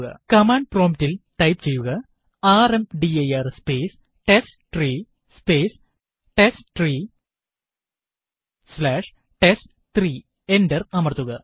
command prompt ല് type ചെയ്യുക ർമ്ദിർ സ്പേസ് ടെസ്റ്റ്രീ സ്പേസ് ടെസ്റ്റ്രീ സ്ലാഷ് ടെസ്റ്റ്3 എന്റർ അമർത്തുക